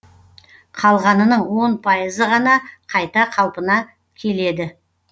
қалғанының он пайызы ғана қайта қалпына келеді